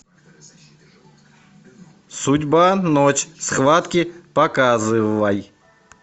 судьба ночь схватки показывай